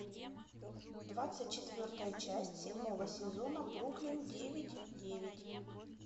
двадцать четвертая часть седьмого сезона бруклин девять девять